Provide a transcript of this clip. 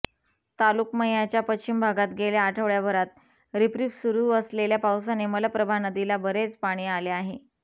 तालुक्मयाच्या पश्चिम भागात गेल्या आठवडय़ाभरात रिपरिप सुरू असलेल्या पावसाने मलप्रभा नदीला बरेच पाणी आले आहे